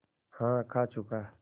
हाँ खा चुका